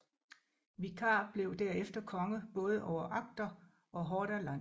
Vikar blev derefter konge både over Agder og Hordaland